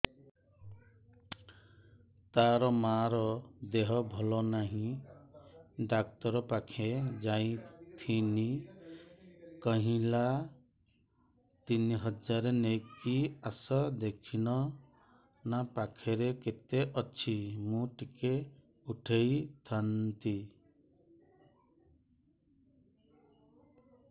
ତାର ମାର ଦେହେ ଭଲ ନାଇଁ ଡାକ୍ତର ପଖକେ ଯାଈଥିନି କହିଲା ତିନ ହଜାର ନେଇକି ଆସ ଦେଖୁନ ନା ଖାତାରେ କେତେ ଅଛି ମୁଇଁ ଟିକେ ଉଠେଇ ଥାଇତି